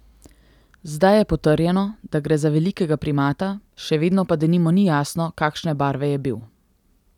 Zdaj je potrjeno, da gre za velikega primata, še vedno pa denimo ni jasno, kakšne barve je bil.